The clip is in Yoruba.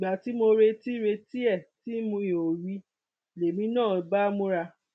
ìgbà tí mo retí retí ẹ tí mi ò rí i lèmi náà bá múra